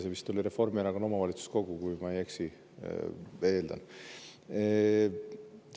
See vist oli Reformierakonna omavalitsuskogu, kui ma ei eksi, ma nii eeldan.